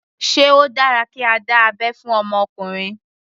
Sé ó dára kí a dá abẹ́ fún ọmọ ọkùnrin.